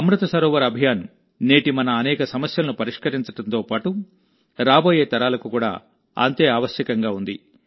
అమృత్ సరోవర్ అభియాన్ నేటి మన అనేక సమస్యలను పరిష్కరించడంతో పాటు రాబోయే తరాలకు కూడా అంతే ఆవశ్యకంగా ఉంది